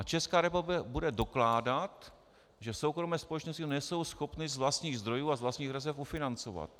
A Česká republika bude dokládat, že soukromé společnosti nejsou schopny z vlastních zdrojů a z vlastních rezerv ufinancovat.